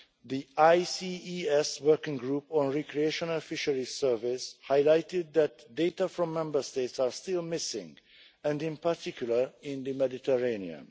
The ICES Working Group on Recreational Fisheries Surveys highlighted that data from Member States are still missing, in particular in the Mediterranean.